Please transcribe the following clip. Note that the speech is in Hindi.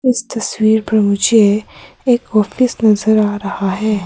इस तस्वीर पर मुझे एक ऑफिस नजर आ रहा है।